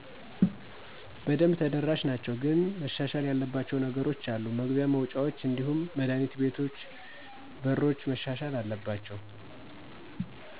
በደንብ ተደራሽ ናቸው። ግን መሻሻል ያለባቸው ነገሮች አሉ መግቢያ፣ መውጫውች እንዲሁም መዳህኒት ቤቶች በሮች መሻሻል አለባቸው።